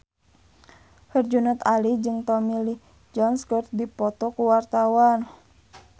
Herjunot Ali jeung Tommy Lee Jones keur dipoto ku wartawan